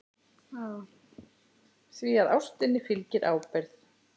Því að ástinni fylgir ábyrgð.